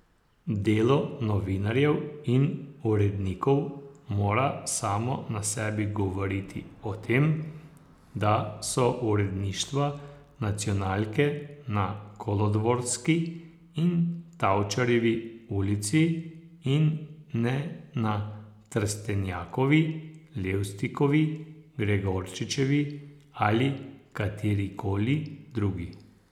Delo novinarjev in urednikov mora samo na sebi govoriti o tem, da so uredništva nacionalke na Kolodvorski in Tavčarjevi ulici in ne na Trstenjakovi, Levstikovi, Gregorčičevi ali katerikoli drugi.